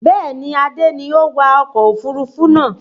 Bẹ́ẹ̀ni, Adé ni ó wa ọkọ̀ òfurufú náà